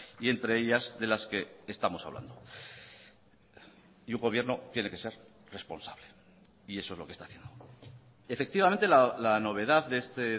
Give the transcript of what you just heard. y entre ellas de las que estamos hablando y un gobierno tiene que ser responsable y eso es lo que está haciendo efectivamente la novedad de este